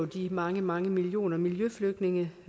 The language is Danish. de mange mange millioner miljøflygtninge